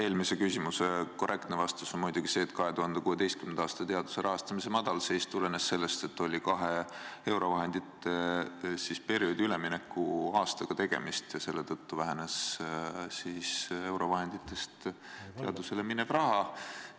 Eelmise küsimuse korrektne vastus on muidugi see, et 2016. aasta teaduse rahastamise madalseis tulenes sellest, et oli tegemist kahe eurovahendite perioodi üleminekuaastaga ja selle tõttu vähenes eurovahenditest teadusele minev raha.